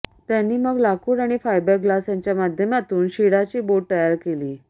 त्यांनी मग लाकूड आणि फायबर ग्लास यांच्या माध्यमातून शिडाची बोट तयार केली